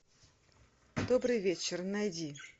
добрый вечер найди